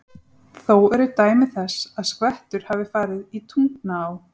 Þó eru dæmi þess, að skvettur hafa farið í Tungnaá.